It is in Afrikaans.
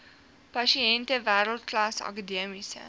pasiënte wêreldklas akademiese